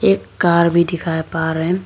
एक कार भी दिखाई रहे--